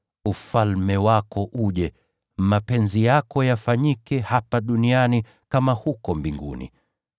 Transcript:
Ufalme wako uje. Mapenzi yako yafanyike hapa duniani kama huko mbinguni.